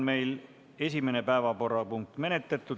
Esimene päevakorrapunkt on menetletud.